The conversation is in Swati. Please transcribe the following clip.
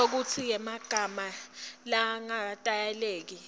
inshokutsi yemagama langaketayeleki